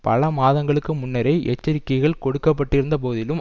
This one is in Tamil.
பல மாதங்களுக்கு முன்னரே எச்சரிக்கைகள் கொடுக்க பட்டிருந்த போதிலும்